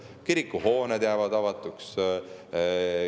Kirikuhooned jäävad avatuks.